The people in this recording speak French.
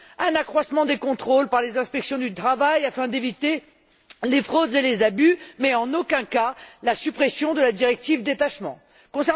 Un accroissement des contrôles par les inspections du travail afin d'éviter les fraudes et les abus, mais en aucun cas la suppression de la directive sur le détachement des travailleurs.